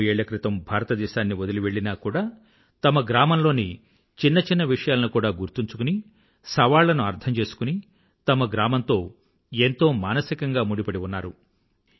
ఎన్నో ఏళ్ల క్రితం భారతదేశాన్ని వదిలి వెళ్ళినా కూడా తమ గ్రామంలోని చిన్న చిన్న విషయాలను కూడా గుర్తుంచుకుని సవాళ్లను అర్థం చేసుకుని తమ గ్రామంతో ఎంతో మానసికంగా ముడిపడి ఉన్నారు